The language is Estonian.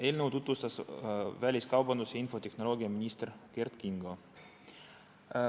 Eelnõu tutvustas väliskaubandus- ja infotehnoloogiaminister Kert Kingo.